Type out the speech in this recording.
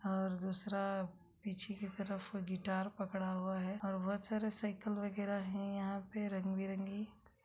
और दूसरा पीछे की तरफ गिटार पकड़ा हुआ है और बहोत सारे साइकल वगेरा हैं यहाँ पे रंग बिरंगी।